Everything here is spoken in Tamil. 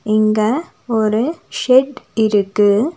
இங்க ஒரு ஷெட் இருக்கு.